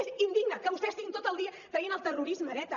és indigne que vostès estiguin tot el dia traient el terrorisme d’eta